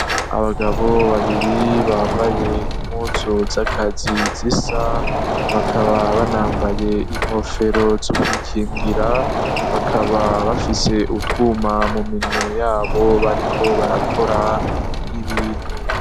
Abagabo babiri bambaye impusu z'akazi zisa bakaba banambaye inkofero z'ukwikingira bakaba bafise utwuma mu minwe yabo bariko barakora ibintu.